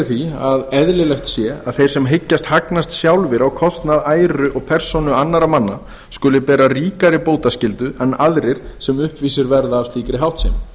því að eðlilegt sé að þeir sem hyggjast hagnast sjálfir á kostnað æru og persónu annarra manna skuli bera ríkari bótaskyldu en aðrir sem uppvísir verða að slíkri háttsemi